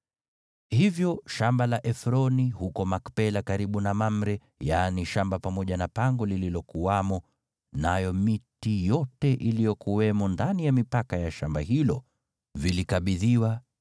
Hivyo shamba la Efroni huko Makpela karibu na Mamre, yaani shamba pamoja na pango lililokuwamo, nayo miti yote iliyokuwamo ndani ya mipaka ya shamba hilo, vilikabidhiwa,